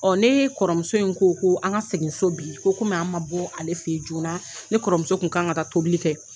Ɔ ne kɔrɔmuso in ko ko an ka segin so bi ko kɔmi an ma bɔ ale fɛ yen joona ne kɔrɔmuso tun kan ka taa tobili kɛ